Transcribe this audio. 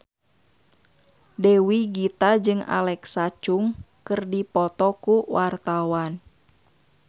Dewi Gita jeung Alexa Chung keur dipoto ku wartawan